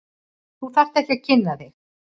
Þú þarft ekki að kynna þig.